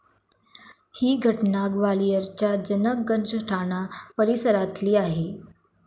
ही घटना ग्वालियरच्या जनक गंज ठाणा परिसरातली आहे.